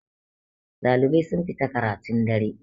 ɗalibai sun fita karatun dare